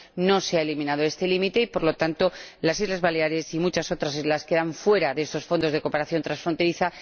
No se ha eliminado este límite y, por tanto, las Islas Baleares y muchas otras islas quedan fuera de estos fondos de cooperación transfronteriza.